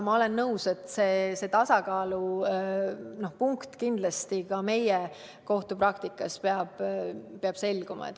Ma olen nõus, et see tasakaalupunkt peab kindlasti ka meie enda kohtupraktikas selguma.